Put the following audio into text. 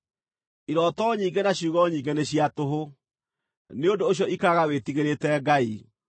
Irooto nyingĩ na ciugo nyingĩ nĩ cia tũhũ. Nĩ ũndũ ũcio ikaraga wĩtigĩrĩte Ngai.